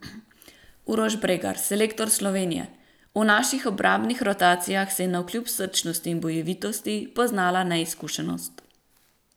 Uroš Bregar, selektor Slovenije: "V naših obrambnih rotacijah se je navkljub srčnosti in bojevitosti poznala neizkušenost.